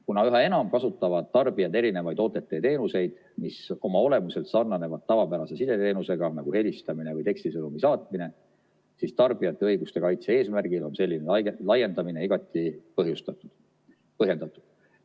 Kuna üha enam kasutavad tarbijad erinevaid OTT-teenuseid, mis oma olemuselt sarnanevad tavapärase sideteenusega nagu helistamine või tekstisõnumi saatmine, siis tarbijate õiguste kaitse eesmärgil on selline laiendamine igati põhjendatud.